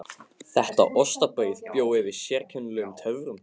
Þetta ostabrauð bjó yfir sérkennilegum töfrum.